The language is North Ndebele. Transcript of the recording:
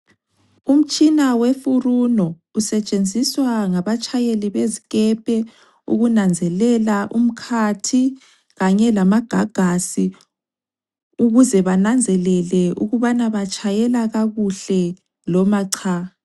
Umtshina weFuruno usetshenziswa ngabatshayeli bezikepe ukunanzelela umkhathi kanye lamagagasi ukuze bananzelele ukubana batshayela kakuhle loma cha.